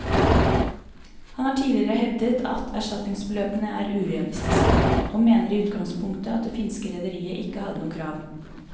Han har tidligere hevdet at erstatningsbeløpene er urealistiske, og mener i utgangspunktet at det finske rederiet ikke hadde noe krav.